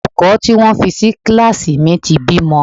Olùkọ́ tí wọ́n fi sí kíláàsì mi ti bímọ.